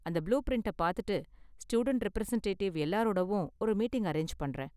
அந்த புளூ பிரிண்ட்ட பார்த்துட்டு, ஸ்டூடண்ட் ரெப்ரசன்ட்டேட்டிவ் எல்லாரோடவும் ஒரு மீட்டிங் அரேஞ்ச் பண்றேன்.